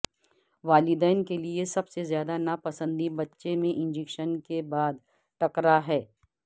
والدین کے لئے سب سے زیادہ ناپسندی بچے میں انجکشن کے بعد ٹکرا ہے